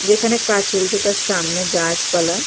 যেখানে কাজ চলছে তার সামনে গাছপালা--